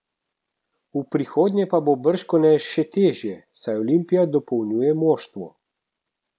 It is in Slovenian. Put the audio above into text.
V prihodnje pa bo bržkone še težje, saj Olimpija dopolnjuje moštvo.